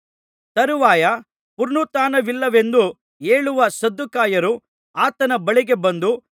ತರುವಾಯ ಪುನರುತ್ಥಾನವಿಲ್ಲವೆಂದು ಹೇಳುವ ಸದ್ದುಕಾಯರು ಆತನ ಬಳಿಗೆ ಬಂದು